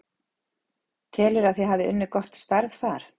Telurðu að þið hafi unnið gott starf þar?